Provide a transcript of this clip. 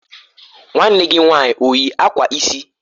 Nwanne gi nwanyị o yi akwa isi?